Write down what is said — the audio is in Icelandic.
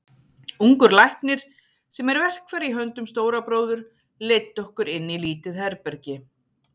Ungur læknir, sem er verkfæri í höndum Stóra bróður, leiddi okkur inn í lítið herbergi.